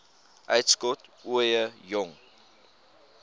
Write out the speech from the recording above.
uitskot ooie jong